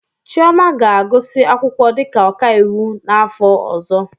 Chioma ga-agụsị akwụkwọ dịka ọkaiwu n'afọ ọzọ.